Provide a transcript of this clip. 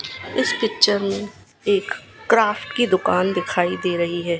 इस पिक्चर में एक क्राफ्ट की दुकान दिखाई दे रही है।